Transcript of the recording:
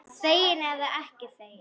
Þegin eða ekki þegin.